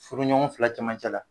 Furuɲɔgɔn fila cɛmancɛ la